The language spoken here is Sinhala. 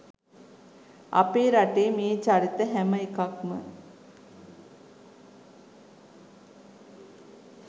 අපේ රටේ මේ චරිත හැම එකක්ම